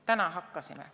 Täna hakkasime.